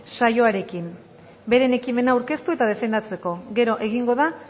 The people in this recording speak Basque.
saioaren beren ekimena aurkeztu eta defendatzeko gero egingo da